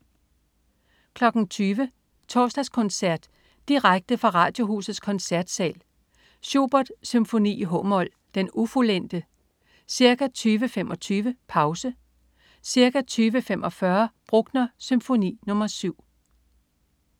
20.00 Torsdagskoncert. Direkte fra Radiohusets Koncertsal. Schubert: Symfoni, h-mol, Den ufuldente. Ca. 20.25: Pause. Ca. 20.45: Bruckner: Symfoni nr. 7